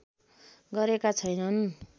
गरेका छैनन्